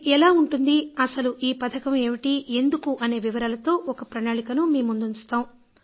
ఇది ఎలా ఉంటుంది అసలు ఈ పథకం ఏమిటి ఎందుకు అనే వివరాలతో ఒక ప్రణాళికను మీ ముందుంచుతాం